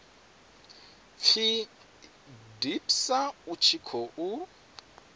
pfi dpsa u tshi khou